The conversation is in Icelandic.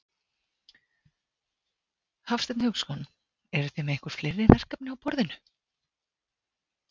Hafsteinn Hauksson: Eruð þið með einhver fleiri verkefni á borðinu?